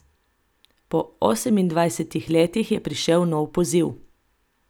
Po osemindvajsetih letih je prišel nov poziv.